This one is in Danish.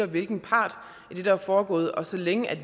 hvilken part i det der er foregået og så længe